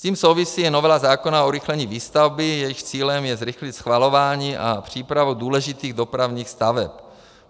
S tím souvisí i novela zákona o urychlení výstavby, jejímž cílem je zrychlit schvalování a přípravu důležitých dopravních staveb.